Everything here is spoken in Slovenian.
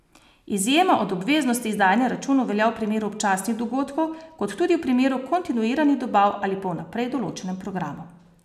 Izjema od obveznosti izdajanja računov velja v primeru občasnih dogodkov, kot tudi v primeru kontinuiranih dobav ali po vnaprej določenem programu.